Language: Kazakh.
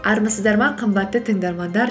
армысыздар ма қымбатты тыңдармандар